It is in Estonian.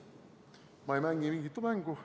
Ma ei mängi mingit mängu.